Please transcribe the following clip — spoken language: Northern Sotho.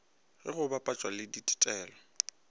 ge go bapetšwa le ditetelo